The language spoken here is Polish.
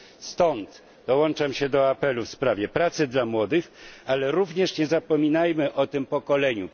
Stąd dołączam się do apelu w sprawie pracy dla młodych, ale również nie zapominajmy o pokoleniu